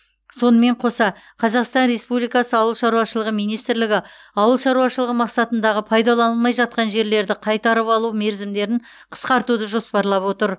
сонымен қоса қазақстан республикасы ауылшаруашылығы министрлігі ауыл шаруашылығы мақсатындағы пайдаланылмай жатқан жерлерді қайтарып алу мерзімдерін қысқартуды жоспарлап отыр